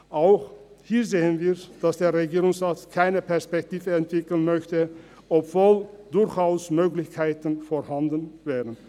Auch hier sehen wir, dass der Regierungsrat keine Perspektive entwickeln möchte, obwohl durchaus Möglichkeiten vorhanden wären.